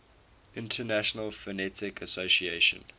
international phonetic association